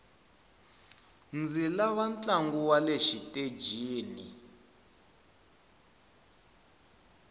ndzi lava ntlangu wale xitejini